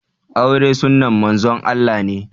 Aure sunnan Manzon Allah ne